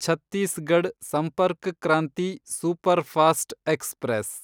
Chhattisgarh Sampark Kranti superfast express